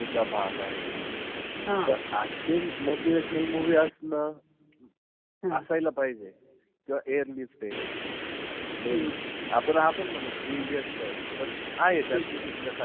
मिल्खा आहे. त अशे motivational movie असणार. असायला पाहिजे. किंवा airlift ए. Then आपण आपण म्हणू three idiots पण. आहे त्यातून शिकण्यासारखं.